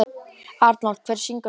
Arnold, hver syngur þetta lag?